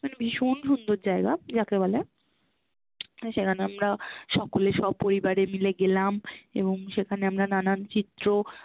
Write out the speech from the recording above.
মানে ভীষ্ন্ সুন্দর জায়গা যাকে বলে, সেখানে আমরা সকলে সপরিবারে মিলে গেলাম এবং সেখানে আমরা নানান চিত্র